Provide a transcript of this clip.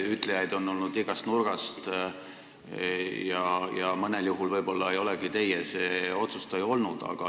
Ütlejaid on olnud igast nurgast ja mõnel juhul võib-olla ei olegi teie see otsustaja olnud.